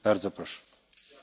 Herr Präsident!